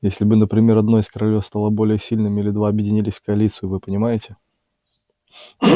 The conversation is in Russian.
если бы например одно из королевств стало более сильным или два объединились в коалицию вы понимаете